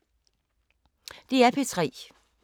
DR P3